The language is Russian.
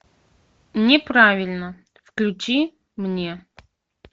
неправильно включи мне